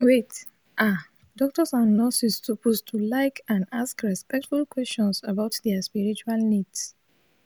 wait ah doctors and nurses suppose to like and ask respectful questions about dia spiritual needs